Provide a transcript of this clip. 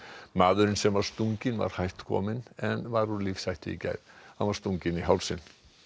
maðurinn sem var stunginn var hætt kominn en var úr lífshættu í gær hann var stunginn í hálsinn